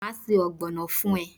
Maa se ogbono fun e